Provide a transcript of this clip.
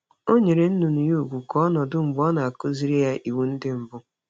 Ọ nyere nnụnụ ya ugwu ya ka ọ nọdụ mgbe ọ na-akụziri ya iwu ndị mbụ.